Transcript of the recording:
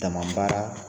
Dama baara